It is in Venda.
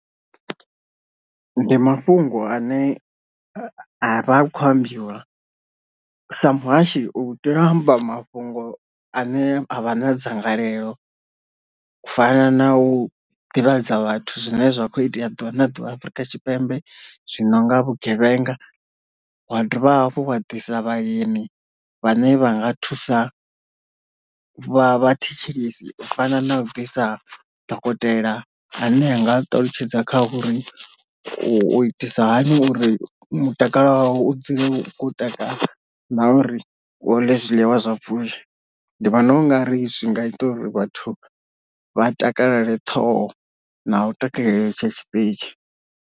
Ndi mafhungo ane a vha hu kho ambiwa, sa muhashi u teya amba mafhungo ane a vha na dzangalelo u fana na u ḓivhadza vhathu zwine zwa kho itea ḓuvha na ḓuvha Afrika Tshipembe zwino nga vhugevhenga, wa dovha hafhu wa ḓisa vhaeni vhane vha nga thusa vha vha thetshelesi, u fana na u ḓisa dokotela ane anga ṱalutshedza kha uri u itisa hani uri mutakalo wavho u dzule wo takala na uri uḽe zwiḽiwa zwa pfhushi, ndi vhona u nga ri zwi nga ita uri vhathu vha takale ṱhoho na u takalela tshetshi zwiṱitshi.